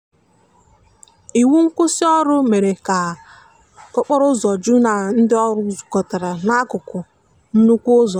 iwụ nkwụsì ọrụ mere ka okporo ụzọ ju na ndi ọrụ zukotara na akụkụ nnukwu ụzọ.